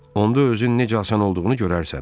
Onda özün necə asan olduğunu görərsən.